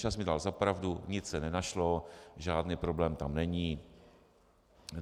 Čas mi dal za pravdu, nic se nenašlo, žádný problém tam není.